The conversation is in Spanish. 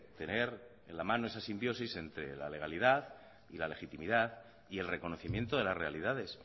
tener en la mano esa simbiosis entre la legalidad y la legitimidad y el reconocimiento de las realidades